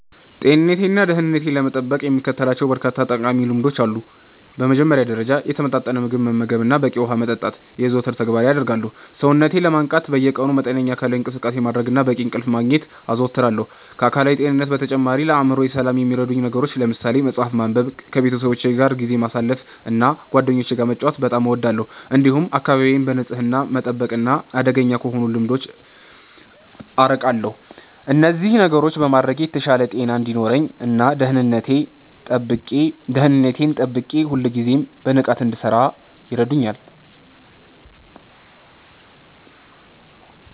ጤንነቴንና ደህንነቴን ለመጠበቅ የምከተላቸው በርካታ ጠቃሚ ልምዶች አሉ። በመጀመሪያ ደረጃ፣ የተመጣጠነ ምግብ መመገብንና በቂ ውሃ መጠጣትን የዘወትር ተግባሬ አደርጋለሁ። ሰውነቴን ለማነቃቃት በየቀኑ መጠነኛ አካላዊ እንቅስቃሴ ማድረግንና በቂ እንቅልፍ ማግኘትን አዘወትራለሁ። ከአካላዊ ጤንነት በተጨማሪ፣ ለአእምሮዬ ሰላም የሚረዱ ነገሮችን ለምሳሌ መጽሐፍ ማንበብንና ከቤተሰቦቼ ጋር ጊዜ ማሳለፍን እና ጓደኞቼ ጋር መጫወት በጣም እወዳለሁ። እንዲሁም አካባቢዬን በንጽህና መጠበቅና አደገኛ ከሆኑ ልምዶች አርቃለሁ። እነዚህን ነገሮች በማድረግ የተሻለ ጤና እንዲኖረኝ እና ደህንነቴን ጠብቄ ሁልጊዜም በንቃት እንድሠራ ይረዱኛል።